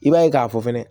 I b'a ye k'a fɔ fɛnɛ